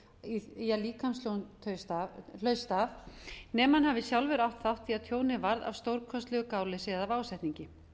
þátt í að líkamstjón hlaust af nema hann hafi sjálfur átt þátt í að tjónið varð af stórkostlegu gáleysi eða af ásetningi